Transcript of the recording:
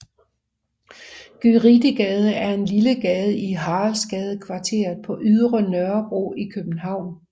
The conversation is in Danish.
Gyritegade er en lille gade i Haraldsgadekvarteret på Ydre Nørrebro i København